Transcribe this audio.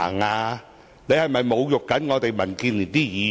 她是否在侮辱我們民建聯議員？